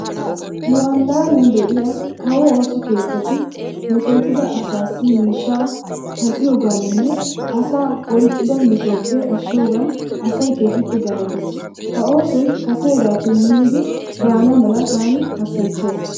Nu allaanan de'iya kawo ooso keettati metootida asaassi miishshaa tal'iyogaaninne asaa oyqqida metuwaappe ashshiyogaan asay keehippe galatees. Ha oosoyi gaseegaappekka minnidi baana mala taani hassayissaas.